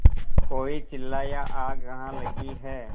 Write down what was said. कोई चिल्लाया आग कहाँ लगी है